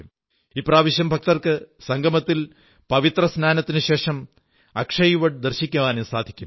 ഇപ്രാവശ്യം ഭക്തർക്ക് സംഗമത്തിൽ പവിത്രസ്നാനത്തിനുശേഷം അക്ഷയവട് ദർശിക്കാനും സാധിക്കും